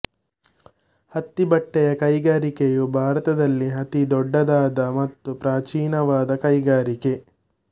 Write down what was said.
ಹತ್ತಿ ಬಟ್ಟೆಯ ಕೈಗಾರಿಕೆಯು ಭಾರತದಲ್ಲಿ ಅತಿ ದೊಡ್ಡದಾದ ಮತ್ತು ಪ್ರಾಚೀನವಾದ ಕೈಗಾರಿಕೆ